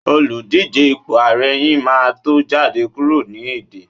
Oludije ipo ààrẹ yin ma to jade kuro ni ede